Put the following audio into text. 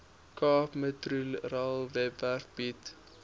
capemetrorail webwerf bied